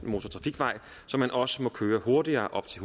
motortrafikvej så man også må køre hurtigere op til